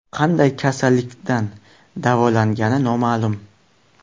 Qanday kasallikdan davolangani noma’lum.